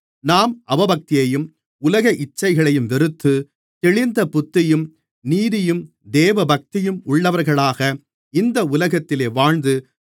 நாம் அவபக்தியையும் உலக இச்சைகளையும் வெறுத்து தெளிந்த புத்தியும் நீதியும் தேவபக்தியும் உள்ளவர்களாக இந்த உலகத்திலே வாழ்ந்து